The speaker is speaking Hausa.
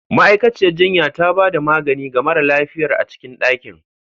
Ma'aikaciyar jinya ta ba da magani ga mara lafiyar a cikin dakin.